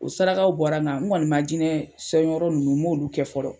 O saraka bɔra, nga n kɔni ma jinɛ sɔn yɔrɔ nunnu , n ma olu kɛ fɔlɔ.